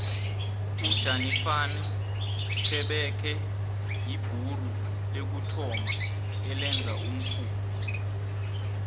ujanifani xebekhe yibhuru lokuthoma elenza umkhumbi